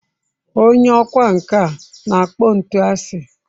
Onye ọkwá nkà na-akpọ ntu asị.